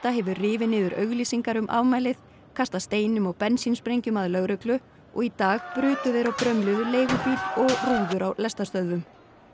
hefur rifið niður auglýsingar um afmælið kastað steinum og bensínsprengjum að lögreglu og í dag brutu þeir og brömluðu leigubíl og rúður á lestarstöðvum